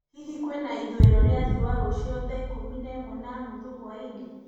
hĩhĩ kwĩna ĩthũĩro rĩa rĩũa rũcĩũ thaaiĩkũmĩ na ĩmwe na nũthũ hwaĩnĩ